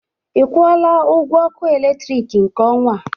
Ị kwọla ọgwọ ọkụ eletrịkị nke ọnwa?